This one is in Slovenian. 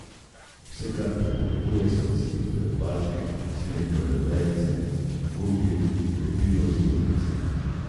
Vse kar potrebujete so cimetove palčke, smrekove vejice, gumbi, lepilo in vrvice.